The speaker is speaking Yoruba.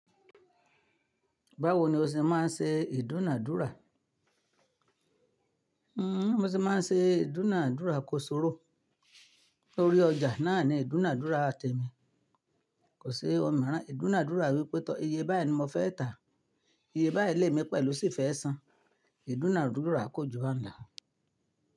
Báwo ni o ṣe máa ń ṣe ìdúnàádúrà? Bi mo ṣe máa ń ṣe ìdúnàádúrà kó ṣorò. Lórí ọjà náà ni ìdúnàádúrà temi Kò sí òmíràn. Ìdúnàádúrà wípé tó iye báyìí ni mo fẹ́ tà, iye báyìí lé mi pẹ̀lú sì fẹ́ san. Ìdúnàádúrà kójú bahun lo.